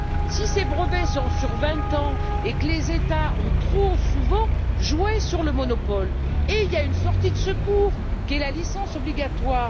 Si ces brevets sont sur vingt ans et que les États ont trop souvent joué sur le monopole, il y a une sortie de secours qui est la licence obligatoire.